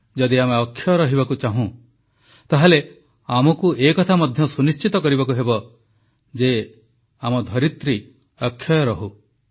ଯଦି ଆମେ ଅକ୍ଷୟ ରହିବାକୁ ଚାହୁଁ ତାହେଲେ ଆମକୁ ଏ କଥା ମଧ୍ୟ ସୁନିଶ୍ଚିତ କରିବାକୁ ହେବ ଯେ ଆମ ଧରିତ୍ରୀ ଅକ୍ଷୟ ରହୁ